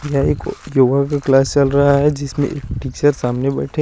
यहा एक योगा का क्लास चलरा है जिसमे टीचर सामने बेठे--